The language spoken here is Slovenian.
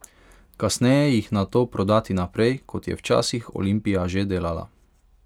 Kasneje jih nato prodati naprej, kot je včasih Olimpija že delala.